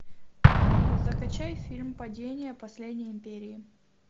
закачай фильм падение последней империи